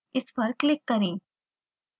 इस पर click करें